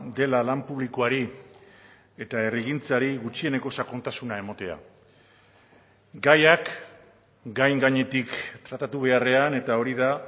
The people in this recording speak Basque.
dela lan publikoari eta herrigintzari gutxieneko sakontasuna ematea gaiak gain gainetik tratatu beharrean eta hori da